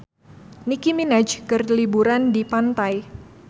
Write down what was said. Nicky Minaj keur liburan di pantai